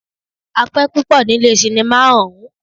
A pẹ́ púpọ ní ilé cinimá ọ̀ún.